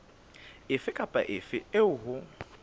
efe kapa efe eo ho